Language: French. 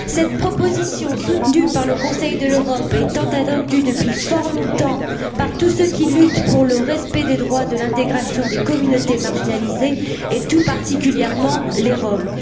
Cette proposition, soutenue par le Conseil de l'Europe, est attendue depuis longtemps par tous ceux qui luttent pour le respect des droits à l'intégration des communautés marginalisées, et tout particulièrement les Roms.